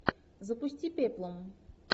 запусти пеплум